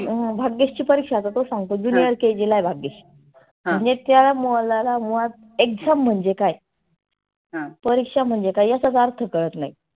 भाग्येशची परिक्षा आता तो सांगतो junior KG ला आहे भाग्येश. नी त्याला मुलाला मुळात exam म्हणजे काय? परिक्षा म्हणजे काय याचाच अर्थ कळत नाही.